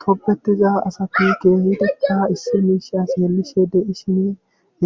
Tobetida asati keehidikka issi miisha xeelishe